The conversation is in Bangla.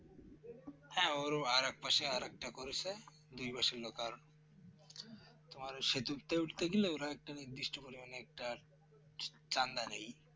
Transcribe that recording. হ্যাঁ ওর ও আর এক পাশে আরেকটা করেছে দুই বা শূন্য কারন তোমার সেতুতো উঠতে গেলে ওরা একটা নির্দিষ্ট পরিমাণে একটা চন্দা নেই